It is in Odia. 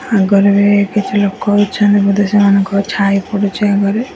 ଆଗରେ ବି କିଛି ଲୋକ ଅଛନ୍ତି ବୋଧେ ସେମାନଙ୍କ ଛାଇ ପଡ଼ୁଚି ଆଗରେ --